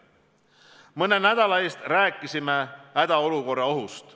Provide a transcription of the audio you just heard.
Mõne nädala eest rääkisime hädaolukorra ohust.